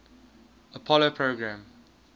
apollo program